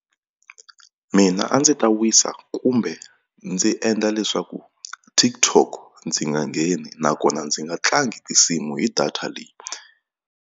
Mina a ndzi ta wisa kumbe ndzi endla leswaku TokTok ndzi nga ngheni nakona ndzi nga tlangi tinsimu hi data leyi.